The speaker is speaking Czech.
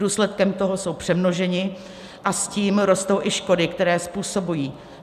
Důsledkem toho jsou přemnožení a s tím rostou i škody, které způsobují.